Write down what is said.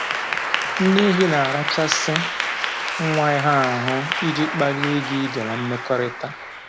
Nne ehi na-arachasị nwa ha ahụ iji kpalie ịga ije na mmekọrịta